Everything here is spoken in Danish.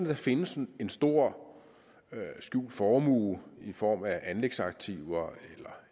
der findes en stor skjult formue i form af anlægsaktiver